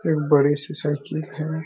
एक बड़ी सी साइकिल हैं।